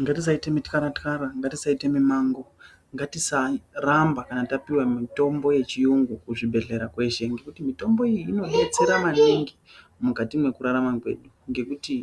Ngatisaite mityara-tyara ngatisaite mimango, ngatisaramba kana tapihwe mitombo yechiyungu kuzvibhedhlera kweshe ngekuti mitombo iyi inodetsera maningi mukati mwekurarama kwedu ngekuti